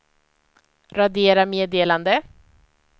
radera meddelande